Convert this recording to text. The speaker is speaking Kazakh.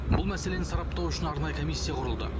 бұл мәселені сараптау үшін арнайы комиссия құрылды